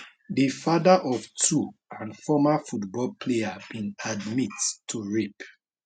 di fatheroftwo and former football player bin admit to rape